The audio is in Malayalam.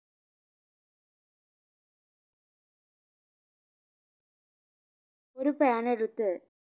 ഒരു pan എടുത്ത്